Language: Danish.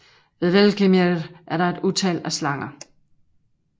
Ved Hvergelmir er der et utal af slanger